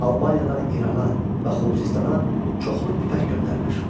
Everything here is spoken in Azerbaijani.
Albaniyadan İrana və Xuzistana çoxlu ipək göndərilir.